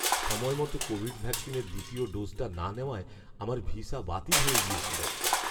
সময়মতো কোভিড ভ্যাকসিনের দ্বিতীয় ডোজটা না নেওয়ায় আমার ভিসা বাতিল হয়ে গিয়েছিল।